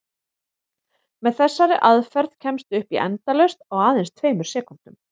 Með þessari aðferð kemstu upp í endalaust á aðeins tveimur sekúndum!